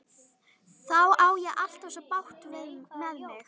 Þá á ég alltaf svo bágt með mig.